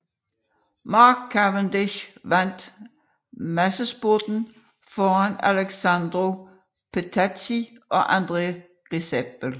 Mark Cavendish vandt massespurten foran Alessandro Petacchi og André Greipel